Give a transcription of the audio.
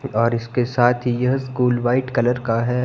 और इसके साथ यह स्कूल व्हाइट कलर का है।